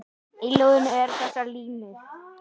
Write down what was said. Í ljóðinu eru þessar línur